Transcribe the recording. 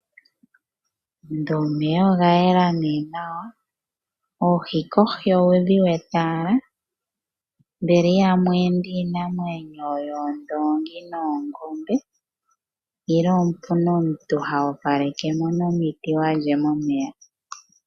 Ndele omeya oga yela nawa. Oohi kohi owudhi wete owala. Mbela ihamu ende iinamwenyo yoongombe noondoongi nenge pamwe opu na omuntu ngoka ho opaleke mo nomiti momeya.